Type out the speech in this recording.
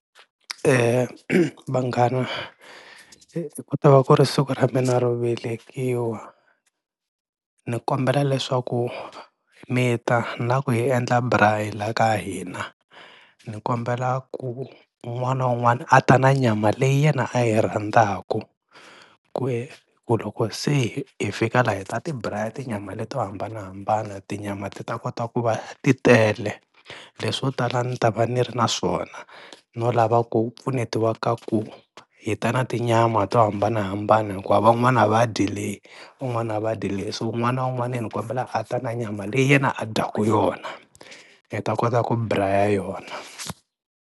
Vanghana ku ta va ku ri siku ra mina ro velekiwa ni kombela leswaku mi ta, ni lava ku hi endla braai la ka hina, ni kombela ku un'wana na un'wana a ta na nyama leyi yena a yi rhandzaka ku eku loko se hi fika lana hi ta ti braai tinyama leto hambanahambana tinyama ti ta kota ku va ti tele, leswo tala ni ta va ni ri na swona no lava ku pfunetiwa ka ku hi ta na tinyama to hambanahambana hikuva van'wana a va dyi leyi, van'wana a va dyi leyi so un'wana na un'wana ni kombela a ta na nyama leyi yena a dyaka yona hi ta kota ku braai yona.